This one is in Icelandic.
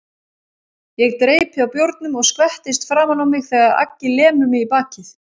Ég dreypi á bjórnum og skvettist framan á mig þegar Aggi lemur mig í bakið.